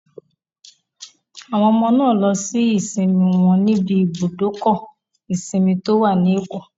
Àwọn ọmọ náà lo ìsinmi wọn níbi ibùdókọ̀ ìsinmi tó wà ní Èkó